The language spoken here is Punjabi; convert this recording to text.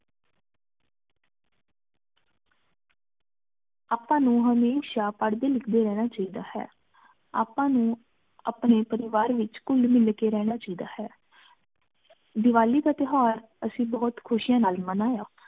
ਅਪ੍ਪਾ ਨੂ ਹਮੇਸ਼ਾ ਪਾਰ੍ਹ੍ਡੀ ਲਿਖਦੀ ਰਹਨਾ ਚਾਹੀ ਦਾ ਹੈ ਅਪ੍ਪਾ ਨੂ ਅਪਨੀ ਪਰਿਵਾਰ ਵਿਚ ਘੁਲ ਮਿਲ ਕ ਰਹਨਾ ਚੀ ਦਾ ਹੈ ਦਿਵਾਲੀ ਦਾ ਤੇਹ੍ਵਰ ਅੱਸੀ ਬੋਹਤ ਖੁਸ਼ਿਯਾਂ ਨਾਲ ਮਾਨ੍ਯ